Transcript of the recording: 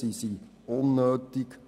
Sie sind unnötig.